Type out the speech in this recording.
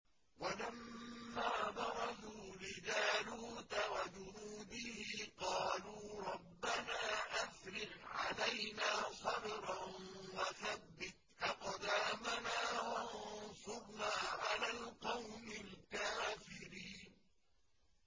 وَلَمَّا بَرَزُوا لِجَالُوتَ وَجُنُودِهِ قَالُوا رَبَّنَا أَفْرِغْ عَلَيْنَا صَبْرًا وَثَبِّتْ أَقْدَامَنَا وَانصُرْنَا عَلَى الْقَوْمِ الْكَافِرِينَ